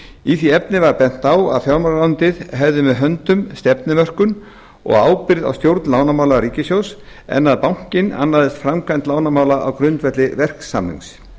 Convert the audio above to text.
í því efni var bent á að fjármálaráðuneytið hefði með höndum stefnumörkun og ábyrgð á stjórn lánamála ríkissjóðs en að bankinn annaðist framkvæmd lánamála á grundvelli verksamnings